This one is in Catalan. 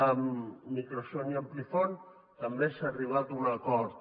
amb microson i amplifon també s’ha arribat a un acord